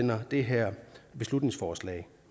det her beslutningsforslag